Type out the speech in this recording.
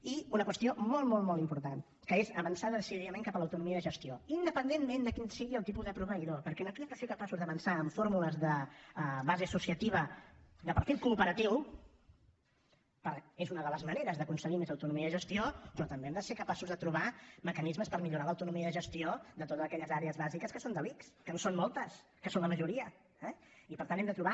i una qüestió molt molt important que és avançar decididament cap a l’autonomia de gestió independentment de quin sigui el tipus de proveïdor perquè aquí hem de ser capaços d’avançar amb fórmules de base associativa de perfil cooperatiu és una de les maneres d’aconseguir més autonomia de gestió però també hem de ser capaços de trobar mecanismes per millorar l’autonomia de gestió de totes aquelles àrees bàsiques que són de l’ics que en són moltes que són la majoria eh i per tant hem de trobar